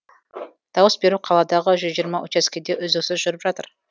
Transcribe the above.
дауыс беру қаладағы жүз жиырма учаскеде үздіксіз жүріп жатыр